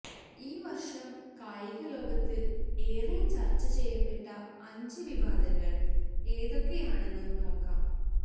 ഈ വര്ഷം കായിക ലോകത്ത് ഏറെ ചര്ച്ച ചെയ്യപ്പെട്ട അഞ്ച് വിവാദങ്ങള് ഏതൊക്കെയാണെന്ന് നോക്കാം